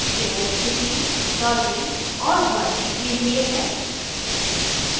यह स्थिति dodging और burning के लिए है